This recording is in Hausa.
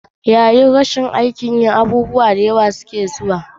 Yayin da rashin aikin yi, abubuwan da suka shafi aikin yi suna zuwa.